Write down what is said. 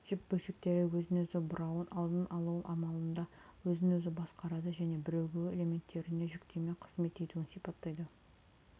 жіп бөлшектері өзін өзі бұрауын алдын алу амалында өзін өзі басқарады және бірігуі элементтеріне жүктеме қызмет етуін сипаттайды